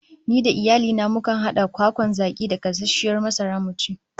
Ni da iyali na mukan hada kwakwan zaki da gasasshiyar masara mu ci